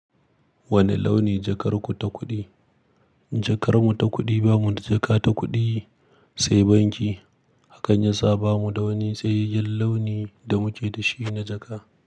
Wane launi jakar ku ta kuɗi? Jakar mu ta kuɗi, bamu da jaka ta kuɗi, sai banki. Hakan yasa bamu da wani tsayayyen launi da muke da shi na jaka.